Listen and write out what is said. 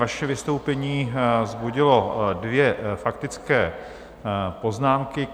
Vaše vystoupení vzbudilo dvě faktické poznámky.